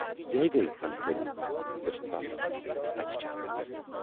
یِہےَ گٔیہِ فنکٲری یۅس تَس اتھِ چھے آمٕژ۔